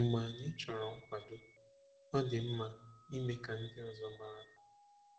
Mgbe anyị chọrọ nkwado, ọ dị mma ime ka ndị ọzọ mara.